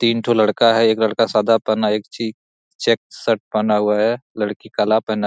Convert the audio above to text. तीन टो लडका है एक लडका सादा पहना है एक ची चैक शर्ट पहना है लडकी काला पहना है।